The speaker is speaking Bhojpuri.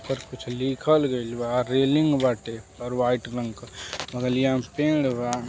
कुछ लिखल गइल बा। रेलिंग बाटे ऊपर वाइट रंग के बगलिया में पेड़ बा --